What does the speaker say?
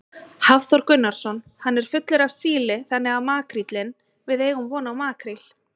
Hafþór Gunnarsson: Hann er fullur af síli þannig að makríllinn, við eigum von á makríl?